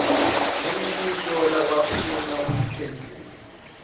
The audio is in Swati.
imibuto labafuna kuyiphendvula